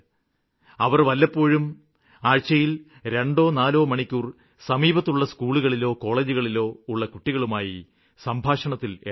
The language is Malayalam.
അവര് വല്ലപ്പോഴും ആഴ്ചയില് രണ്ടോ നാലോ മണിക്കൂര് സമീപത്തുള്ള സ്ക്കൂളിലോ കോളേജിലോ ഉള്ള കുട്ടികളുമായി സംഭാഷണത്തില് ഏര്പ്പെടണം